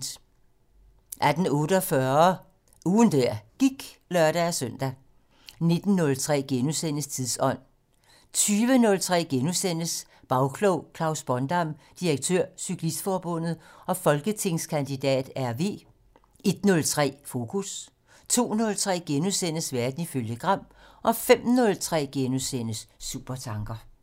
18:48: Ugen der gik (lør-søn) 19:03: Tidsånd * 20:03: Bagklog: Klaus Bondam, direktør Cyklistforbundet og folketingskandidat (RV) * 01:03: Fokus 02:03: Verden ifølge Gram * 05:03: Supertanker *